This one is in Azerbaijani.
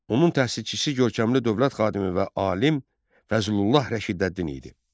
Onun təsisçisi görkəmli dövlət xadimi və alim Fəzullah Rəşidəddin idi.